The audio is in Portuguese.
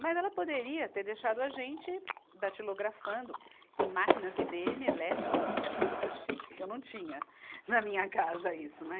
Mas ela poderia ter deixado a gente datilografando em máquinas Ibêeme elétricas, que eram super chiques, que eu não tinha na minha casa isso, né?